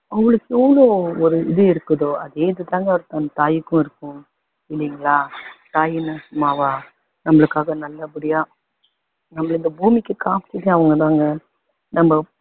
உங்களுக்குன்னு ஒரு இது இருக்குதோ அதே இது தாங்க அந்த தாயுக்கும் இருக்கும் இல்லங்களா தாயின்னா சும்மாவா நம்மளுக்காக நல்லபடியா நம்மள இந்த பூமிக்கு காமிச்சதே அவங்க தாங்க நம்ம